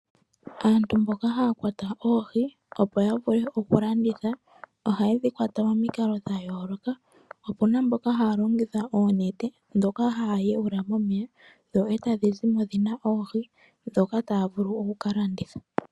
Aantu mboka haya kwata oohi, opo ya vule oku landitha ohaye dhi kwata momikalo dha yooloka, opuna mboka haya longitha oonete ndhoka haya yuula momeya, dho e tadhi zimo dhina oohi ndhoka taya vulu oku ka landitha.